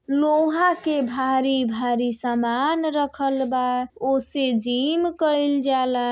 लोहा के भारी भारी सामान रखल बा। ओसे जिम कइल जाला।